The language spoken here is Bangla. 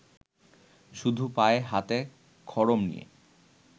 শুধু পায়ে হাতে খড়ম নিয়ে